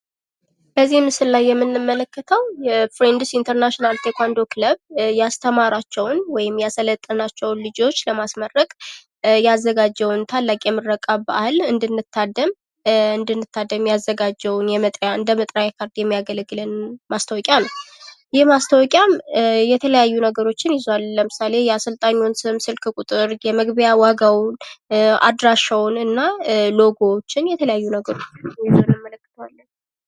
በዚህ ምስል ላይ የምንመለከተው የፍሬንድስ ኢንተርናሽናል ቴኳንዶ ክለብ ያስተማራቸውን ወይም ያሠለጠናቸውን ልጆች ለማስመረቅ ያዘጋጀውን ታላቅ የምረቃ በአል እንድንታደም ያዘጋጀውን እንደመጥሪያ ካርድ የሚያገለግለንን ማስታወቂያ ነው። ይህ ማስታወቂያም የተለያዩ ነገሮችን ይዟል ለምሳሌ የአሰልጣኙን ስም ስም ስልክ ቁጥር የመግቢያ ዋጋው አድራሻውንና ሎጎዎችን የተለያዩ ነገሮችን እንመለከታለን።